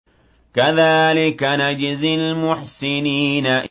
كَذَٰلِكَ نَجْزِي الْمُحْسِنِينَ